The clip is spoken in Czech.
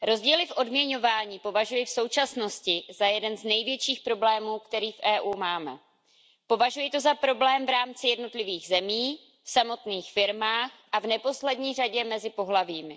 Pane předsedající, paní komisařko, rozdíly v odměňování považuji v současnosti za jeden z největších problémů, který v EU máme. Považuji to za problém v rámci jednotlivých zemí, v samotných firmách a v neposlední řadě mezi pohlavími.